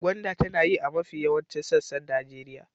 Gwanda tana yi a mafi yawaicin sassan Najeriya.